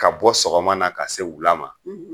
Ka bɔ sɔgɔma na ka se wula ma